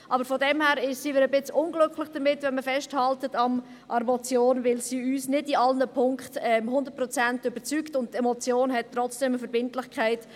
Daher sind wir ein wenig unglücklich, wenn man an der Motion festhält, weil sie uns nicht in allen Punkten hundertprozentig überzeugt, und eine Motion hat trotzdem eine Verbindlichkeit.